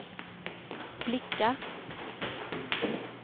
blickar